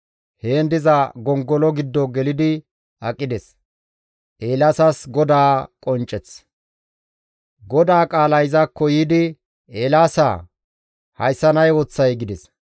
Heen diza gongolo giddo gelidi aqides. Eelaasas Godaa Qoncceth GODAA qaalay izakko yiidi, «Eelaasaa! Hayssan ay ooththay?» gides.